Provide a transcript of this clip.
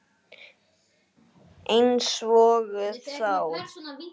Einsog þá.